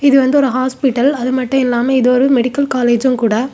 இது வந்து ஒரு ஹாஸ்பிடல் அதுமட்டுமில்லாமல் இது ஒரு மெடிக்கல் காலேஜ்ஜும் கூட.